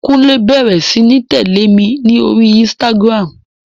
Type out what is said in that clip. Kúnlé bẹrẹ sí ní tẹ̀lẹ́ mi ní orí Instagram.